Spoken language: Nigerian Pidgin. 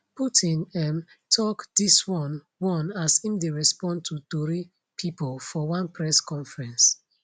putin um tok dis one one as im dey respond to tori pipo for one press conference